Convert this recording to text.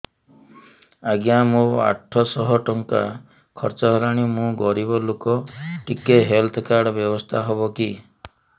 ଆଜ୍ଞା ମୋ ଆଠ ସହ ଟଙ୍କା ଖର୍ଚ୍ଚ ହେଲାଣି ମୁଁ ଗରିବ ଲୁକ ଟିକେ ହେଲ୍ଥ କାର୍ଡ ବ୍ୟବସ୍ଥା ହବ କି